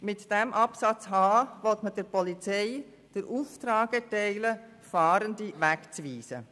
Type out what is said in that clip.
Mit diesem Absatz h will man der Polizei den Auftrag erteilen, Fahrende wegzuweisen.